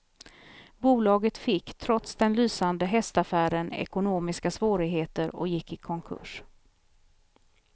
Bolaget fick, trots den lysande hästaffären, ekonomiska svårigheter och gick i konkurs.